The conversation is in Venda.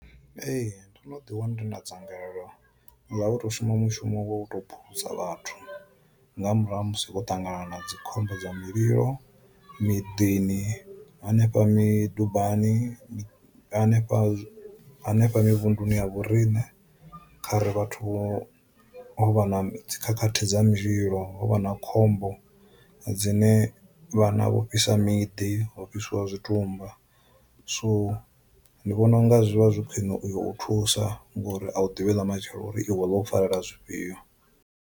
Ee ndo no ḓi wana ndi na dzangalelo ḽa u to shuma mushumo wo u to phulusa vhathu nga murahu ha musi ho ṱangana na dzikhombo dza mililo, miḓini, hanefha midubani, hanefha hanefho muvhunḓuni ya vhorine kha ri vhathu ho vha na dzi khakhathi dza mililo ho vha na khombo dzine vhana vho fhisa miḓi ho fhisiwa zwi tumba. So ndi vhona u nga zwi vha zwi khwiṋe uyo u thusa ngori a u ḓivhi lamatshelo uri iwe ḽo u farela zwifhio.